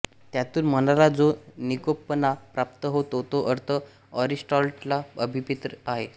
त्यातून मनाला जो निकोपपणा प्राप्त होतो तो अर्थ एरिस्टॉटलला अभिप्रेत आहे